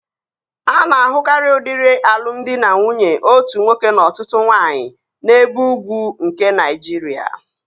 A na-ahụkarịa udiri alụmdi na nwunye otu nwoke na ọtụtụ nwaanyị n'ebe ugwu nke Naịjiria